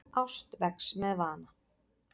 Ást vex með vana.